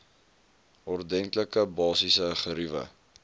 ordentlike basiese geriewe